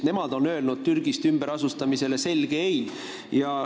Nemad on ju öelnud selge ei inimeste Türgist ümberasustamisele.